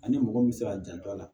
Ani mɔgɔ min bɛ se ka janto a la